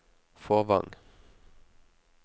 Fåvang